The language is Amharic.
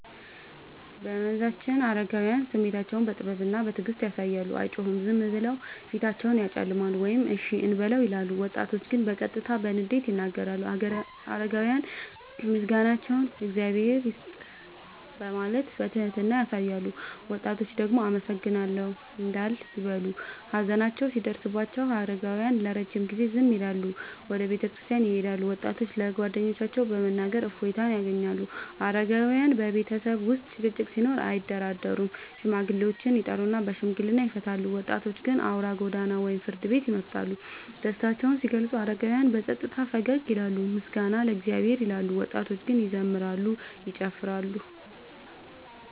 በመንዛችን አረጋውያን ስሜታቸውን በጥበብና በትዕግስት ያሳያሉ፤ አይጮሁም፤ ዝም ብለው ፊታቸውን ያጨለማሉ ወይም “እሺ እንበለው” ይላሉ። ወጣቶች ግን በቀጥታ በንዴት ይናገራሉ። አረጋውያን ምስጋናቸውን “እግዚአብሔር ይስጥህ” በማለት በትህትና ያሳያሉ፤ ወጣቶች ደግሞ “አመሰግናለሁ” እንዳል ይበሉ። ሀዘን ሲደርስባቸው አረጋውያን ለረጅም ጊዜ ዝም ይላሉና ወደ ቤተክርስቲያን ይሄዳሉ፤ ወጣቶች ለጓደኞቻቸው በመናገር እፎይታ ያገኛሉ። አረጋውያን በቤተሰብ ውስጥ ጭቅጭቅ ሲኖር አያደራደሩም፤ ሽማግሌዎችን ይጠሩና በሽምግልና ይፈቱታል። ወጣቶች ግን አውራ ጎዳና ወይም ፍርድ ቤት ይመርጣሉ። ደስታቸውን ሲገልጹ አረጋውያን በጸጥታ ፈገግ ይላሉና “ምስጋና ለእግዚአብሔር” ይላሉ፤ ወጣቶች ግን ይዘምራሉ፤ ይጨፍራሉ።